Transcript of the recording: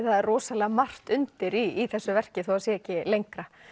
það er rosalega margt undir í þessu verki þó það sé ekki lengra